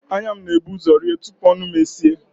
Anya m na-eburu ụzọ rie tupu ọnụ m eeis